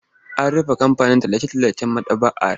An rufe ɓangaren tallace-tallacen maɗaba'ar.